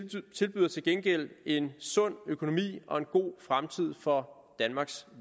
gengæld en sund økonomi og en god fremtid for danmarks